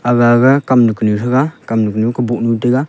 agaga kamnu kanu threga kamnu kanu kaboh taiga.